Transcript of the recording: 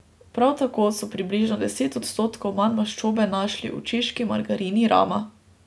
Prav tako so približno deset odstotkov manj maščobe našli v češki margarini Rama.